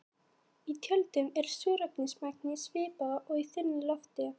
Í tjöldunum er súrefnismagnið svipað og í þunnu lofti.